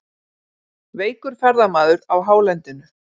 Veikur ferðamaður á hálendinu